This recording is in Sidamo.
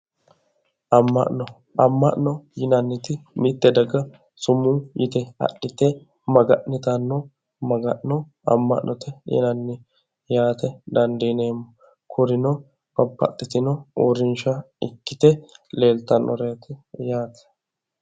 Amma'no amma'no yinanniti mitte daga sumuu yite adhite maga'nitanno maga'no amma'note yinanni yaate dandiineemmo kurino babbaxitino uurrinshsha ikkite leeltannoreeti yaate.